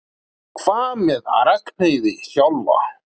Hvað með Ragnheiði sjálfa?